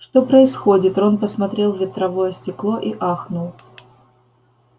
что происходит рон посмотрел в ветровое стекло и ахнул